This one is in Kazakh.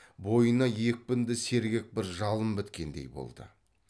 бойына екпінді сергек бір жалын біткендей болды